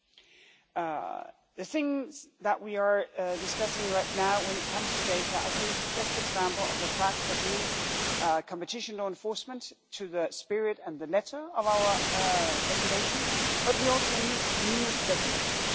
Regarding the things that we are discussing right now, when it comes to data I think this is the best example of the fact that we need competition law enforcement to the spirit and the letter of our regulation, but we also need new regulation.